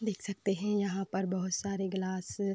देख सकते हैं यहाँ पर बोहोत सारे गिलास --